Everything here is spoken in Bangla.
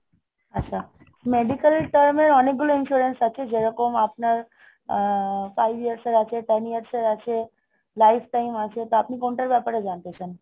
আচ্ছা, medical term এর অনেকগুলো insurance আছে। যেরকম আপনার আহ five years এর আছে, ten years এর আছে. life time আছে, তা আপনি কোনটার ব্যাপারে জানতে চান?